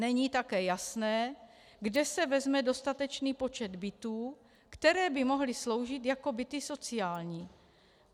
Není také jasné, kde se vezme dostatečný počet bytů, které by mohly sloužit jako byty sociální.